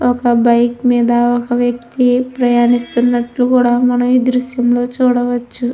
ఒక బైక్ మీద ఒక వ్యక్తి ప్రయాణిస్తూనట్లు కూడా మనము ఈ దృశ్యంలో చూడవచ్చు.